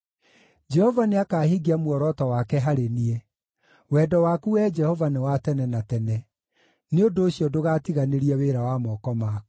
Jehova nĩakahingia muoroto wake harĩ niĩ; wendo waku, Wee Jehova, nĩ wa tene na tene; nĩ ũndũ ũcio ndũgatiganĩrie wĩra wa moko maku.